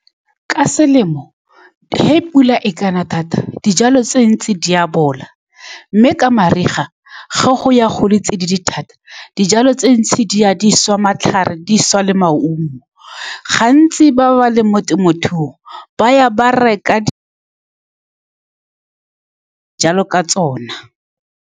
Ka selemo, fa pula e kana thata, dijalo tse dintsi di a bola, mme ka mariga, ga go ya go le tsididi thata, dijalo tse dintsi di a swa, matlhare, di swa le maungo. Gantsi, ba ba leng mo temothuong ba ya ba reka jalo ka tsone.